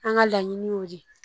An ka laɲini y'o de ye